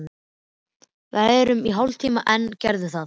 Verum í hálftíma enn, gerðu það.